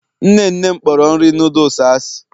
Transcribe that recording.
nne nne m kporo nri noodles asị.